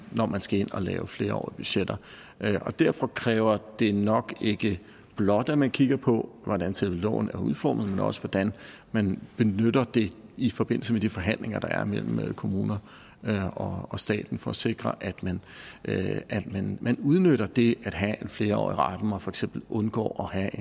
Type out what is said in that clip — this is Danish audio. når man skal ind og lave flerårige budgetter derfor kræver det nok ikke blot at man kigger på hvordan selve loven er udformet men også hvordan man benytter det i forbindelse med de forhandlinger der er mellem kommuner og staten for at sikre at man man udnytter det at have en flerårig ramme og for eksempel undgår at